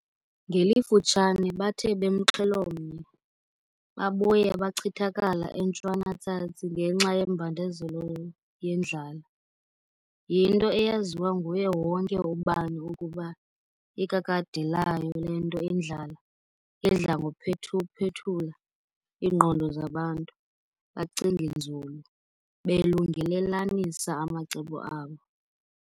Ngelifutshane bathe bemxhelo mnye , babuya bachithakala eNtshwana-tsatsi ngenxa yembandezelo yendlala. Yinto eyaziwa nguye wonke ubani ukuba ikakade layo le nto indlala idla ngokuphethu-phethula iingqondo zabantu, bacinge nzulu, belungelelanisa amacebo abo.